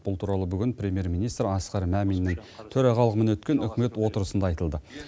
бұл туралы бүгін премьер министр асқар маминнің төрағалығымен өткен үкімет отырысында айтылды